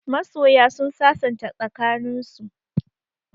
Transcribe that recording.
Masoya sun sasanta tsakaninsu.